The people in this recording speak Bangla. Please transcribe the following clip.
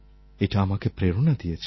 এটা আমাকে প্রেরণা দিয়েছে